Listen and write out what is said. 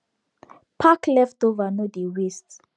pack leftover no dey waste